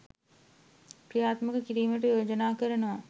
ක්‍රියාත්මක කිරීමට යෝජනා කරනවා